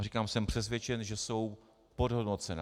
A říkám, jsem přesvědčen, že jsou podhodnocená.